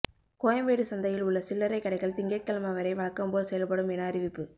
கோயம்பேடு சந்தையில் உள்ள சில்லறை கடைகள் திங்கட்கிழமை வரை வழக்கம் போல் செயல்படும் என அறிவிப்பு